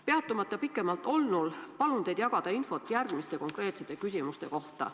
Peatumata pikemalt olnul, palun teil jagada infot järgmiste konkreetsete küsimuste kohta.